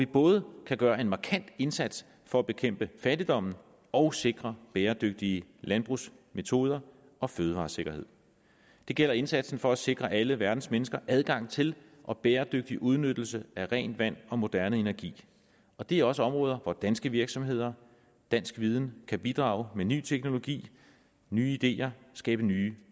både gøre en markant indsats for at bekæmpe fattigdommen og sikre bæredygtige landbrugsmetoder og fødevaresikkerhed det gælder indsatsen for at sikre alle verdens mennesker adgang til og bæredygtig udnyttelse af rent vand og moderne energi og det er også områder hvor danske virksomheder og dansk viden kan bidrage med ny teknologi nye ideer og skabe nye